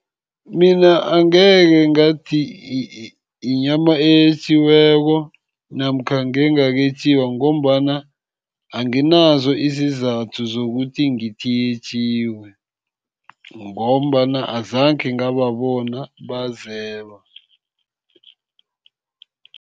Mina angekhe ngathi inyama eyetjiweko, namkha ngengaketjiwa ngombana anginazo izizathu zokuthi ngithi yetjiwe. Ngombana azange ngababona bazeba.